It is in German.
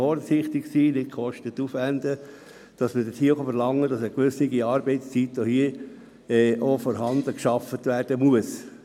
Es kann verlangt werden, dass dafür eine gewisse Zeit gearbeitet werden muss.